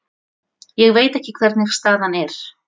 Ég veit ekki hvernig staðan er.